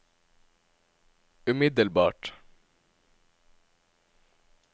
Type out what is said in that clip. umiddelbart